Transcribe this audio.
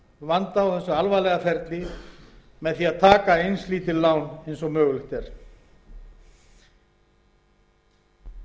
vanda og alvarlega ferli að taka eins lítil lán og mögulegt er